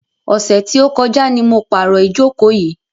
Ọ̀sẹ̀ tí ó kọjá ni mo pàrò ìjókò yìí.